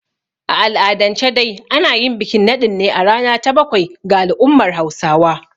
A al'adance dai ana yin bikin naɗin ne a rana ta bakwai ga al'ummar Hausawa.